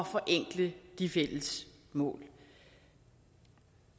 forenkle de fælles mål